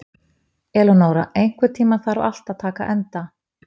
Eleonora, einhvern tímann þarf allt að taka enda.